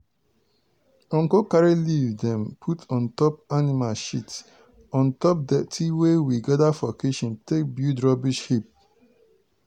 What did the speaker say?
uncle carry leaf dem put on top animal shit on top dirty we gather from kitchen take build rubbish heap.